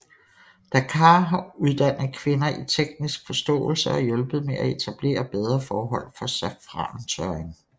DACAAR har uddannet kvinder i teknisk forståelse og hjulpet med at etablere bedre forhold for safrantørring